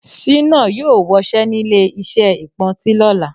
Sínà yóò wọṣẹ́nílé iṣẹ́ ìpọntí lọ́la